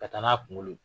Ka taa n'a kunkolo ye